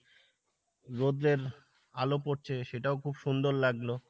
রোদ্রের আলো পরছে সেটাও খুব সুন্দর লাগলো